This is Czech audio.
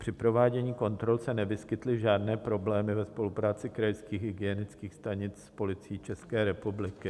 Při provádění kontrol se nevyskytly žádné problémy ve spolupráci krajských hygienických stanic s Policií České republiky.